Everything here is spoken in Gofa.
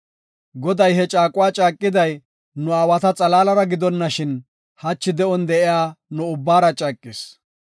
Goday he caaquwa caaqiday nu aawata xalaalara gidonashin, hachi de7on de7iya nu ubbaara caaqis.